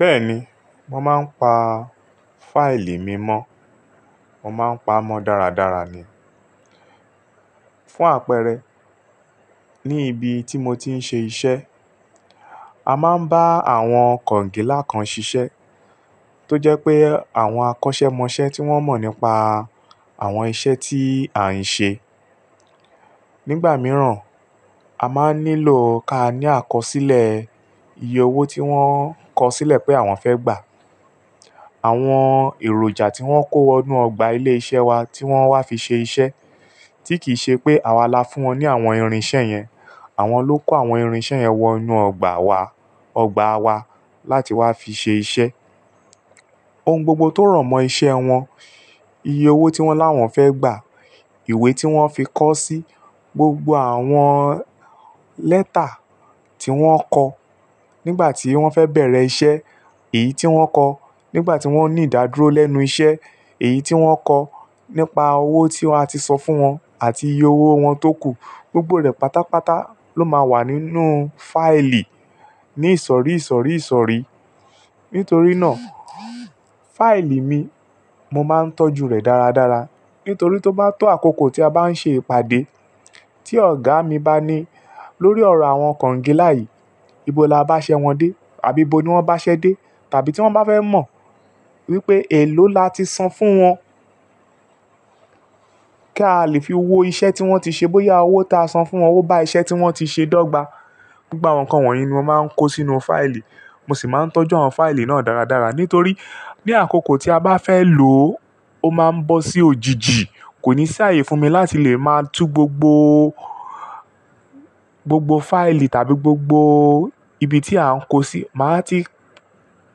Bẹ́ẹ̀ni, mo máa ń pa fáìlì mi mọ́. Mo máa ń pa mọ́ dáradára ni. Fún àpẹẹrẹ, ní ibi tí mo ti ń ṣe iṣẹ́, a máa ń bá àwọn kọ̀ǹgílá kan ṣiṣẹ́ tó jẹ́ pé àwọn akọ́ṣẹ́mọṣẹ́ tí wọ́n mọ̀ nípa àwọn iṣẹ́ tí à ń ṣe. Nígbà mìíràn, a máa ń nílò ká ní àkọsílẹ̀ iye owó tí wọ́n kọsílẹ̀ pé àwọn fẹ́ gbà, àwọn èròjà tí wọ́n kó wọnú ọgbà ilé iṣẹ́ wa tí wọ́n wá fi ṣe iṣẹ́, tí kì í ṣe pé àwa la fún wọn ní àwọn irinṣẹ́ yẹn. Àwọn ló kó àwọn irinṣẹ́ yẹn wọnú ọgbà wa, ọgbà wa láti wá fi ṣe iṣẹ́. Ohun gbogbo tó rọ̀mọ́ iṣẹ́ wọn, iye owó tí wọ́n láwọn fẹ́ gbà, ìwé tí wọ́n fi kọ sí, gbogbo àwọn lẹ́tà tí wọ́n kọ nígbà tí wọ́n fẹ́ bẹ̀rẹ̀ iṣẹ́, èyí tí wọ́n kọ nígbà tí wọ́n ní ìdádúró lẹ́nu iṣẹ́, èyí tí wọ́n kọ nípa owó tí a ti san fún wọn àti iye owó wọn tókù. Gbogbo rẹ̀ pátápátá ló máa wà nínú fáìlì ní ìsọ̀rí ìsọ̀rí ìsọ̀rí. Nítorí náà, fáìlì mi, mo máa ń tọ́jú rẹ̀ dáradára. Nítorí tó bá tó àkókò tí a bá ń ṣe ìpàdé, tí ọ̀gá mi bá ní lórí ọ̀rọ̀ àwọn kọ̀ǹgílá yìí, ibo la bá ṣẹ́ wọn dé? Àbí ibo ni wọ́n bá ṣẹ́ dé? Tàbí tí wọ́n bá fẹ́ mọ̀ wípé èló la ti san fún wọn kí a lè fi wo iṣẹ́ tí wọ́n ti ṣe bóyá owó ta san fún wọn bá iṣẹ́ tí wọ́n ti ṣe dọ́gba. Gbogbo àwọn ǹkan wọ̀nyí ni mo máa ń kó sínú fáìlì. Mo sì máa ń tọ́jú àwọn fáìlì náà dáradára. Nítorí ní àkókò tí a bá fẹ́ lò ó, ó máa ń bọ́ sí òjijì. Kò ní ṣààyè fún mi láti lè máa tú gbogbo, gbogbo fáìlì tàbí gbogbo ibi tí à ń kó sí. Màá ti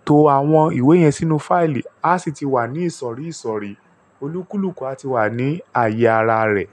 to àwọn ìwé yẹn sínú fáìlì, a sì ti wà ní ìsọ̀rí ìsọ̀rí. Olúkúlùkù a ti wà ní ààyè ara rẹ̀.